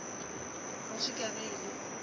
kgoši ka ge e le